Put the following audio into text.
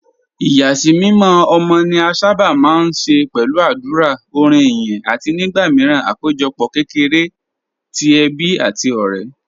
Ìyàsímímọ́ ọmọ ni a sábà máa ń ṣe pẹ̀lú àdúrà, orin ìyìn, àti nígbà míràn àpéjọpọ̀ kékeré ti ẹbí àti ọ̀rẹ́.